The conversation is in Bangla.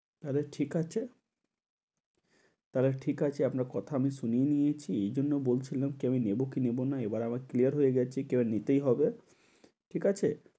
তাহলে ঠিক আছে, তাহলে ঠিক আছে আপনার কথা আমি শুনে নিয়েছি। এজন্য বলছিলাম কি আমি নেবো কি নেবো, এবার আবার clear হয়ে গেছি। কেউ নিতেই হবে। ঠিক আছে?